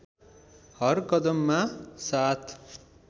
हर कदममा साथ